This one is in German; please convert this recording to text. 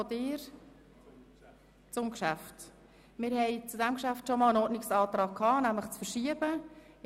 Zu diesem Geschäft wurde bereits ein Ordnungsantrag gestellt, nämlich auf Verschiebung des Vorstosses.